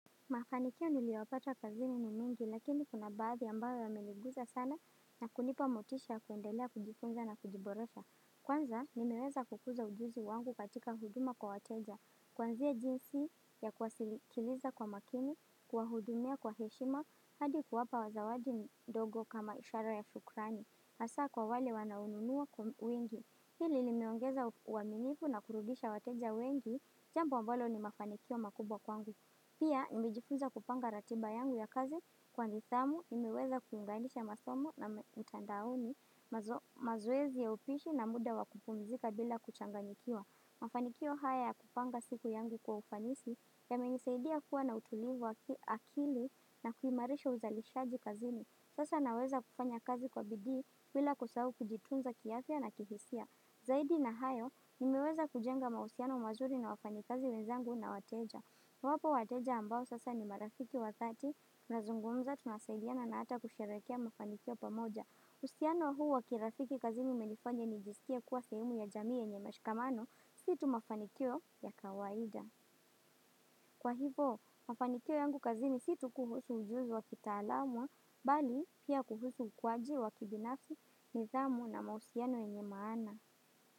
Mafanikio niliwahi pata kazini ni mingi, lakini kuna baadhi ambayo yameliguza sana na kunipa motisha kuendelea kujifunza na kujiboresha. Kwanza, nimeweza kukuza ujuzi wangu katika huduma kwa wateja. Kwanzia jinsi ya kwasilikiliza kwa makini, kwa hudumia kwa heshima, hadi kuwapa zawadi ndogo kama ishara ya shukrani. Asa kwa wale wanaonunua kwa wingi. Hili limeongeza uaminifu na kurudisha wateja wengi, jambi ambalo ni mafanikio makubwa kwangu. Pia, nimejifuza kupanga ratiba yangu ya kazi kwa nidhamu, nimeweza kuunganisha masomo na mtandaoni mazoezi ya upishi na muda wa kupumzika bila kuchanganikiwa. Mafanikio haya ya kupanga siku yangu kwa ufanisi yamenisaidia kuwa na utulivu akili na kuhimarisha uzalishaji kazini. Sasa naweza kufanya kazi kwa bidii bila kusahau kujitunza kiafya na kihisia. Zaidi na hayo, nimeweza kujenga mahusiano mazuri na wafanyikazi wenzangu na wateja. Wapo wateja ambao sasa ni marafiki wa dhati tunazungumza tunasaidiana na ata kusherehekilea mafanikio pamoja. Uhusiano huu wa kirafiki kazini umenifanya nijiskie kuwa sehemu ya jamii yenye mashikamano si tu mafanikio ya kawaida. Kwa hivo, mafanikio yangu kazini si tu kuhusu ujuzi wa kitalamwa, bali pia kuhusu ukwaji wa kibinafi, niidhamu na mahusiano yenye maana.